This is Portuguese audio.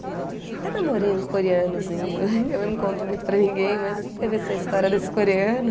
Até namorei um coreanozinho, que eu não conto muito para ninguém, mas teve essa história desse coreano.